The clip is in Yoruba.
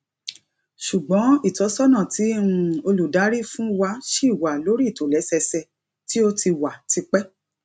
ṣùgbọn ìtọsọnà tí um olùdarí fún wa ṣì wà lórí ìtòlẹsẹẹsẹ tí ó ti wà tipẹ